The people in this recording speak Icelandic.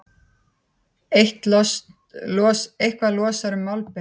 Eitthvað losar um málbeinið